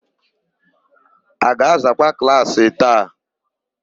A ga-azakwa klaasị a taa?